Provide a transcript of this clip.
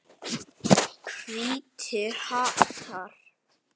Hvítir hattar.